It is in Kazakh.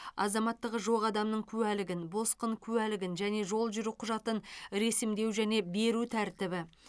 азаматтығы жоқ адамның куәлігін босқын куәлігін және жол жүру құжатын ресімдеу және беру тәртібі